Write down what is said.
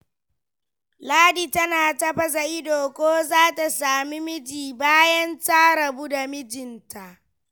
Ladi tana ta baza ido, ko za ta sami miji, bayan ta rabu da mijinta.